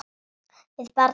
Við barn hennar.